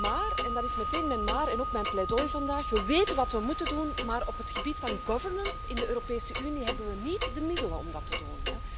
Maar en dat is meteen mijn maar en ook mijn pleidooi vandaag we weten wat we moeten doen, maar op het gebied van governance in de Europese Unie hebben we niet de middelen om dat te doen.